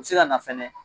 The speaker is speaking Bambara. U bɛ se ka na fɛnɛ